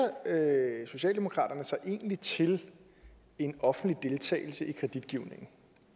socialdemokratiet sig egentlig til en offentlig deltagelse i kreditgivningen